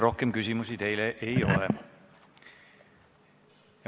Rohkem küsimusi teile ei ole.